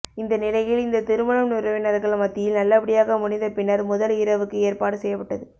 இந்த நிலையில் இந்த திருமணம் உறவினர்கள் மத்தியில் நல்லபடியாக முடிந்த பின்னர் முதல் இரவுக்கு ஏற்பாடு செய்யப்பட்டது